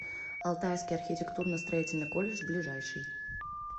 алтайский архитектурно строительный колледж ближайший